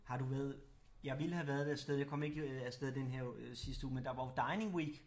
Har du været jeg ville have været afsted jeg komme ikke afsted den her øh sidste uge men der var jo Dining Week